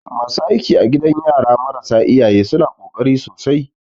Masu aiki a gidan yara marasa iyaye suna ƙoƙari sosai.